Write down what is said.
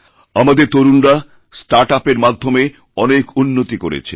আমাদের তরুণরাস্টার্টআপএর মাধ্যমে অনেক উন্নতি করেছে